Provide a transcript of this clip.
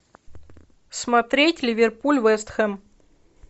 смотреть ливерпуль вест хэм